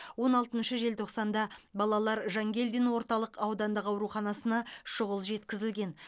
он алтыншы желтоқсанда балалар жангелдин орталық аудандық аруханасына шұғыл жеткізілген